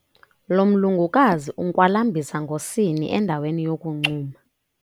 Lo mlungukazi unkwalambisa ngosini endaweni yokuncuma.